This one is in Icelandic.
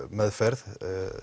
meðferð